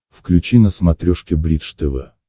включи на смотрешке бридж тв